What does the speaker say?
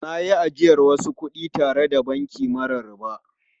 Na yi ajiyar wasu kudi tare da banki mara riba.